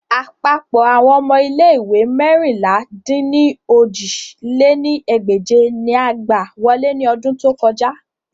Apapọ awọn ọmọ ile-iwe meérinlá-dín-ní-ojì lé ní ẹgbẹ́je ni a gba wọle ni ọdun to kọja